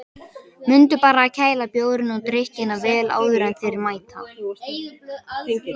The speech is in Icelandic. Mundu bara að kæla bjórinn og drykkina vel áður en þeir mæta.